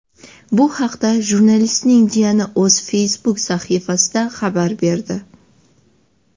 Bu haqda jurnalistning jiyani o‘z Facebook sahifasida xabar berdi .